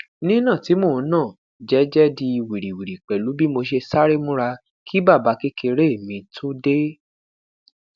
nina ti mo n na jẹjẹ di wiriwiri pẹlu bi mo ṣe sare mura ki babakekere mi to de